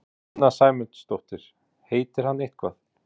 Sunna Sæmundsdóttir: Heitir hann eitthvað?